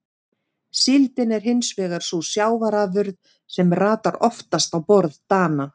Síldin er hins vegar sú sjávarafurð sem ratar oftast á borð Dana.